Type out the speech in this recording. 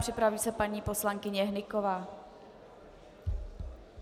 Připraví se paní poslankyně Hnyková.